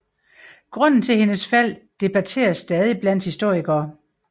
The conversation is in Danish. Grunden til hendes fald debatteres stadig blandt historikere